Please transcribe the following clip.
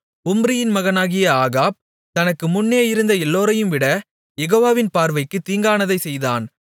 உம்ரியின் மகனாகிய ஆகாப் தனக்கு முன்னே இருந்த எல்லோரையும் விட யெகோவாவின் பார்வைக்குத் தீங்கானதைச் செய்தான்